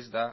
ez da